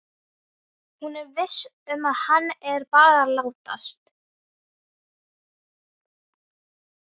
Hún er viss um að hann er bara að látast.